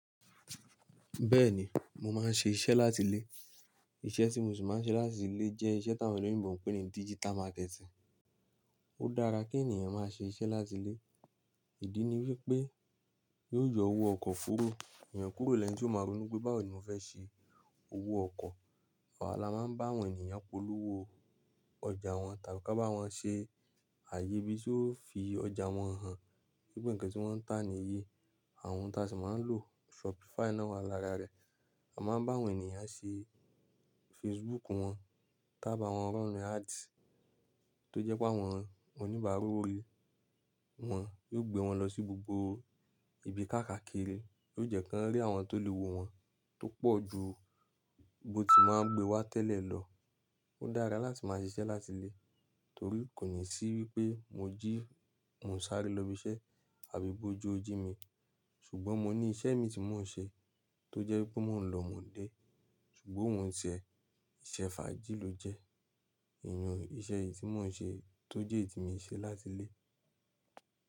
Bẹ́ẹ̀ni, mo máa ń ṣe iṣẹ́ láti lé. Iṣẹ́ tí mo sì máa ń ṣe láti lé jẹ́ iṣẹ́ tí àwọn olóyèbọ ń pè ní digital marketing. Ó dára kí ènìyàn má ṣe iṣẹ́ láti lé. Ìdí ni wípé yóò yọ owó ọkọ̀ kúrò, èèyàn kúrò lẹ́ni tí ó máa ronú pé báwo ni mo fẹ́ ṣe owó ọkọ̀. Awà lá máa ń bá àwọn ènìyàn polówó ọjà wọn tàbí ká bá wọn ṣe ààyè bí o ṣe ó fi ọjà wọn hàn. Wípé ǹkan tí wọ́n ń tà nìyí. Àwọn ohun tí a sì máa ń lò Shopify náà wà lára rẹ̀. A máa ń bá àwọn ènìyàn ṣe Facebook wọn, tá bá wọn se ads tó jẹ́ pé àwọn oníbàárà o ri wọn yóò gbé wọn lọ sí gbogbo ibi káàkàkiri. Yio je ko ri àwọn to lowo won to pooju bo ti máa n gbé wa tẹ́lẹ̀ lo. Ó dára láti máa ṣe iṣẹ́ láti lé torí kò ní sí wípé mo jí, mò ń sáré lọ ibi iṣẹ́ àbí bó jó ojú mi. Ṣùgbọ́n mo ní iṣẹ́ mi tí mò ń ṣe tó jẹ́ wípé mò ń lọ mò n dé. Ṣùgbọ́n òun ti e, iṣẹ́ fàájì ló jẹ́. Ìyẹn iṣẹ́ yìí tí mò ń ṣe tó jẹ́ èyí tí mo ń ṣe láti ilé.